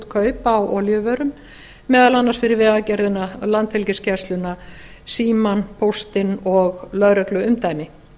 kaup á olíuvörum meðal annars fyrir vegagerðina landhelgisgæsluna símann póstinn og lögregluumdæmi